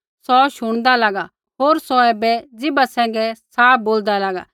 सौ शुणदा लागा होर सौ ऐबै ज़ीभा सैंघै साफ बोलदा लागा